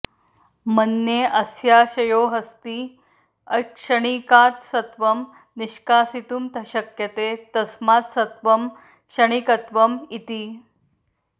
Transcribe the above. मन्ये अस्याशयोऽस्ति अक्षणिकात् सत्त्वं निष्कासितुं शक्यते तस्मात् सत्त्वं क्षणिकत्वम् इति